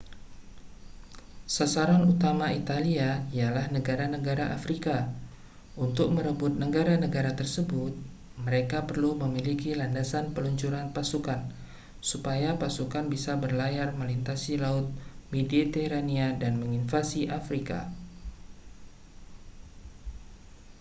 sasaran utama italia ialah negara-negara afrika untuk merebut negara-negara tersebut mereka perlu memiliki landasan peluncuran pasukan supaya pasukan bisa berlayar melintasi laut mediterania dan menginvasi afrika